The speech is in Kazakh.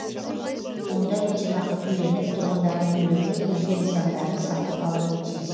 онда өтемақы төленіп тұрғындардың үйлері өзге нысандары сатып алынуы тиіс